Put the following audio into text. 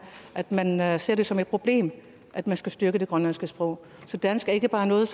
at man man ser det som et problem at man skal styrke det grønlandske sprog så dansk er ikke bare noget